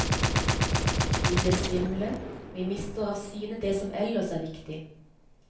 Vi blir svimle, vi mister av syne det som ellers er viktig.